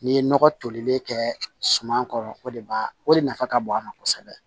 N'i ye nɔgɔ tolilen kɛ suman kɔrɔ o de b'a o de nafa ka bon a ma kosɛbɛ